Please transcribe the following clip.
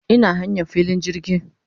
Ina hanyan filin jirgi